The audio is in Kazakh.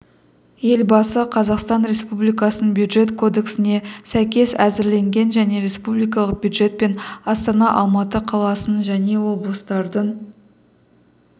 елбасы қазақстан республикасының бюджет кодексіне сәйкес әзірленген және республикалық бюджет пен астана алматы қаласының және облыстардың